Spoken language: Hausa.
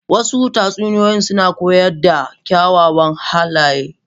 Wasu tatsuniyoyi suna koyar da kyawawan halaye.